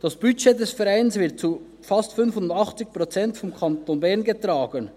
Das Budget des Vereins wird zu fast 85 Prozent vom Kanton Bern getragen.